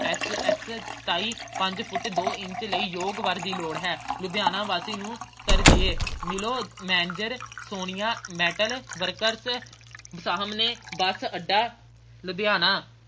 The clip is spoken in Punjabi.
S. S ਸਤਾਈ ਪੰਜ ਫੁੱਟ ਦੋ ਇੰਚ ਲਈ ਯੋਗ ਵਰ ਦੀ ਲੋੜ ਹੈ ਲੁਧਿਆਣਾ ਵਾਸੀ ਨੂੰ ਤਰਜੀਹ ਮਿਲੋ manager ਸੋਨਿਆ metal workers ਅਹ ਸਾਹਮਣੇ bus ਅੱਡਾ ਲੁਧਿਆਣਾ।